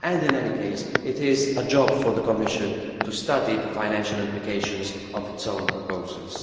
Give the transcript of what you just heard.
In any case, it is a job for the Commission to study the financial implications of its own proposals.